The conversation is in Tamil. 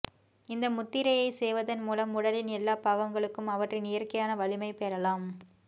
இந்த முத்திரையை செய்வதன் மூலம் உடலின் எல்லா பாகங்களுக்கும் அவற்றின் இயற்கையான வலிமை பெறலாம்